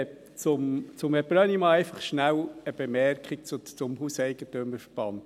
An Herrn Brönnimann einfach schnell eine Bemerkung zum HEV: